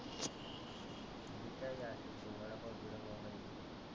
तुला काय खायचं वडापाव गिडापाव काही.